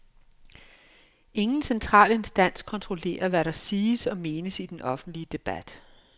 Ingen central instans kontrollerer, hvad der siges og menes i den offentlige debat.